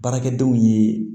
Baarakɛdenw ye